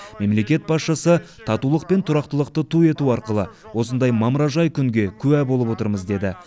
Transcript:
мемлекет басшысы татулық пен тұрақтылықты ту ету арқылы осындай мамыражай күнге куә болып отырмыз деді